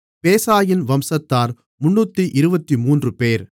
பேசாயின் வம்சத்தார் 323 பேர்